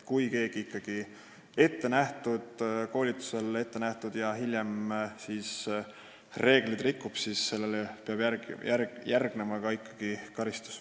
Kui keegi osaleb ettenähtud koolitusel ja rikub hiljem ikkagi reegleid, siis peab sellele järgnema karistus.